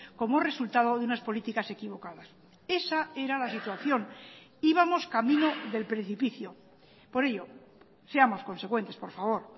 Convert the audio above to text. como resultado de unas políticas equivocadas esa era la situación íbamos camino del precipicio por ello seamos consecuentes por favor